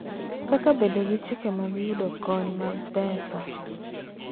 Kaka bedo gi chike mag yudo kony mag pesa,